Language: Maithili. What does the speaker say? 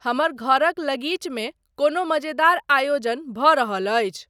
हमर घरक लगीचमे कोनो मजेदार आयोजन भऽ रहल अछि।